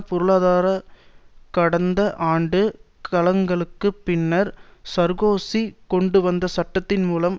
பொருளுரை கடந்த ஆண்டு கலகங்களுக்கு பின்னர் சார்க்கோசி கொண்டுவந்த சட்டத்தின் மூலம்